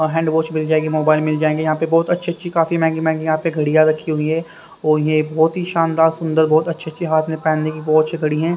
Hand wash मिल जाएगी mobile मिल जाएंगे यहां पे बहोत अच्छे अच्छे काफी महंगी महंगी यहां पे घड़ियां रखी हुई है और ये बहोत ही शानदार सुंदर बहोत अच्छे अच्छे हाथ में पहनने की बहोत अच्छी घड़ी है।